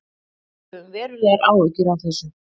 Við höfum verulegar áhyggjur af þessu